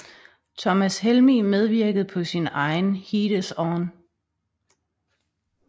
Thomas Helmig medvirkede på sin egen Heat Is On